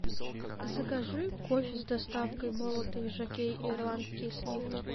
закажи кофе с доставкой молотый жокей ирландские сливки